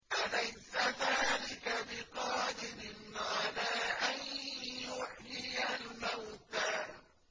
أَلَيْسَ ذَٰلِكَ بِقَادِرٍ عَلَىٰ أَن يُحْيِيَ الْمَوْتَىٰ